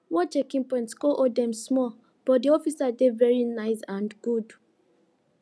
one checking point com hold dem small but de officers dey very nice and good